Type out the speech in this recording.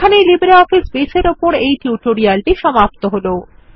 এখানেই LibreOffice Base এর উপর এই টিউটোরিয়ালের সমাপ্তি হল